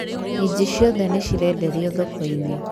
minji ciothe nĩ cĩrendĩrĩo thoko-inĩ